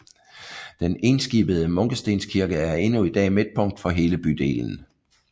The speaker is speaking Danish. Den enskibede munkestenkirke er endnu i dag midtpunkt for hele bydelen